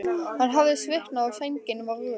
Hann hafði svitnað og sængin var rök.